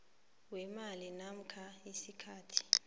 weemali namkha isikhathi